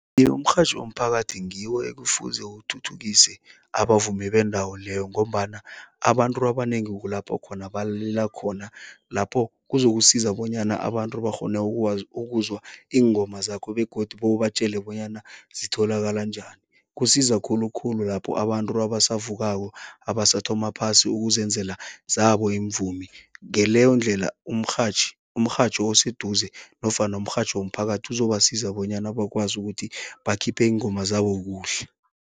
umrhatjho womphakathi ngiwo ekufuze uthuthukise abavumi bendawo leyo ngombana abantu abanengi kulapho khona balalela khona, lapho kuzokusiza bonyana abantu bakghone ukwazi, ukuzwa iingoma zakho begodu bewubatjela bonyana zitholakala njani. Kusiza khulukhulu lapho abantu abasavukako, abasathoma phasi ukuzenzela zabo iimvumi, ngeleyo ndlela umrhatjhi, umrhatjho oseduze nofana umrhatjho womphakathi uzobasiza bonyana bakwazi ukuthi bakhiphe iingoma zabo kuhle.